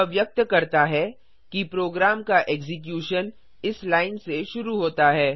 यह व्यक्त करता है कि प्रोग्राम का एक्जीक्यूशन इस लाइन से शुरू होता है